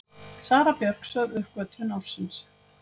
Sara Björk sögð uppgötvun ársins